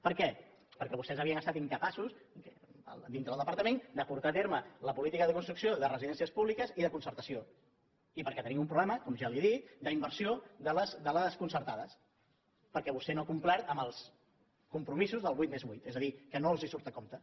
per què perquè vostès havien estat incapaços dintre del departament de portar a terme la política de construcció de residències públiques i de concertació i perquè tenim un problema com ja li he dit d’inversió de les concertades perquè vostè no ha complert amb els compromisos del vuit més vuit és a dir que no els surt a compte